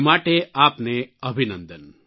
એ માટે આપને અભિનંદન